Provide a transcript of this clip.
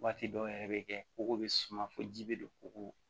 Waati dɔw yɛrɛ bɛ kɛ kogo bɛ suma fɔ ji bɛ don kɔgɔ